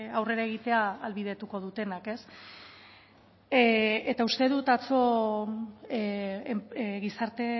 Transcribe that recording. aurrera egitea ahalbidetuko dutenak eta uste dut atzo gizarte